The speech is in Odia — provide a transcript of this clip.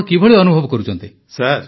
ଆପଣ କିଭଳି ଅନୁଭବ କରୁଛନ୍ତି